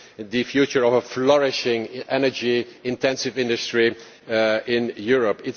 the future of a flourishing energy intensive industry in Europe.